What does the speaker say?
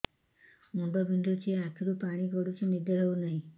ମୁଣ୍ଡ ବିନ୍ଧୁଛି ଆଖିରୁ ପାଣି ଗଡୁଛି ନିଦ ହେଉନାହିଁ